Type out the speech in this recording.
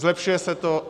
Zlepšuje se to.